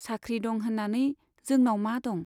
साख्रि दं होन्नानै जोंनाव मा दं?